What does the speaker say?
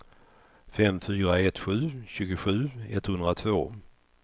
fem fyra ett sju tjugosju etthundratvå